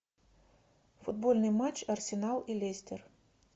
футбольный матч арсенал и лестер